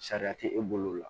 Sariya tɛ e bolo o la